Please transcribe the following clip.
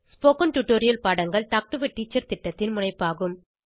spoken tutorial பாடங்கள் talk to a teacher திட்டத்தின் முனைப்பாகும்